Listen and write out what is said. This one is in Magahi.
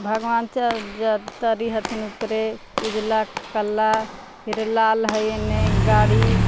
भगवान च ज तरी हथिन उपरे उजला काला फिर लाल हइ एने गाड़ी --